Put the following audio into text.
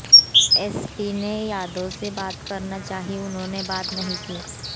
SP ने यादव से बात करना चाही उन्होंने बात नहीं की